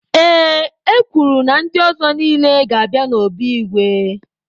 Ee, e kwuru na ndị ọzọ niile ga-abịa n'obi igwe.